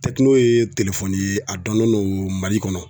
ye telefɔni ye a donnen don Mali kɔnɔ.